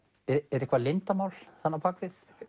er eitthvað leyndarmál þarna á bak við